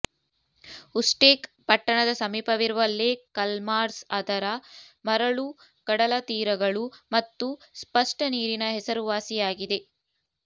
ಉಷ್ಟೆಕ್ ಪಟ್ಟಣದ ಸಮೀಪವಿರುವ ಲೇಕ್ ಖಲ್ಮಾರ್ಝ್ ಅದರ ಮರಳು ಕಡಲತೀರಗಳು ಮತ್ತು ಸ್ಪಷ್ಟ ನೀರಿನ ಹೆಸರುವಾಸಿಯಾಗಿದೆ